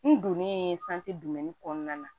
N donnen kɔnɔna na